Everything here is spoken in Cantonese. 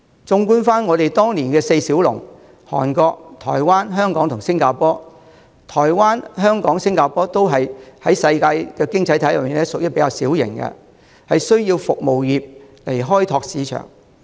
綜觀當年的亞洲四小龍，台灣、香港和新加坡在世界經濟體系中，均屬於比較小型，需要以服務業開拓市場。